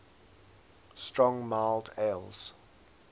strong mild ales